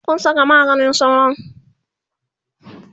Kun Saka maganin sauron?